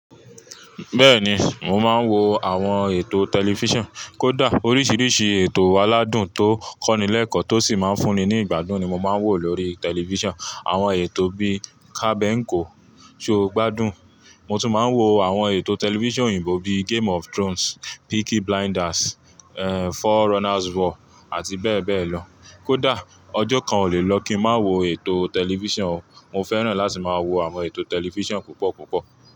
Bẹ́ẹ̀ni, mo máa ń wo àwọn ètò tẹlifíṣàn. Kódà oríṣiríṣi ètò aládùn tó kọ́nilẹ́ẹ̀kọ́ tó sì máa ń fún ni ni ìgbádùn ni mo máa ń wò lórí tẹlifíṣàn. Àwọn ètò bí i Kabẹńkọ, Ṣọ́gbádùn. Mo tún máa ń wo àwọn ètò tẹlifíṣàn òyìnbó bíi game of Thrones, Peaky Blinders, For Runner's War àti bẹ́ẹ̀ bẹ́ẹ̀ lọ. Kódà ọjọ́ kan ò lè lọ kí ń má wo ètò tẹlifíṣàn o. Mo fẹ́ràn láti máa wo àwọn ètò tẹlifíṣàn púpọ̀ púpọ̀.